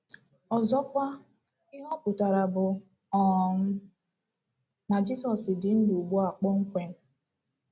Ọzọkwa, ihe ọ pụtara bụ um na Jizọs dị ndụ ugbu a kpọmkwem.